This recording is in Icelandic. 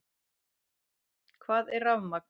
Hvað er rafmagn?